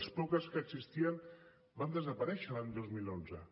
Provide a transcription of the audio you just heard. les poques que existien van desaparèixer l’any dos mil onze